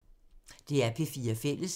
DR P4 Fælles